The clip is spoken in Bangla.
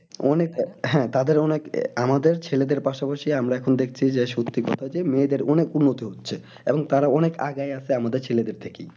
অনেকটা হ্যাঁ তাদের অনেক আমাদের ছেলেদের পাশে বসিয়ে আমরা এখন দেখছি যে সত্যি কথা যে মেয়েদের অনেক উন্নতি হচ্ছে। এবং তারা অনেক আগাই আছে আমাদের ছেলেদের থেকে।